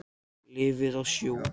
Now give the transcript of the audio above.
Lifði í sjó.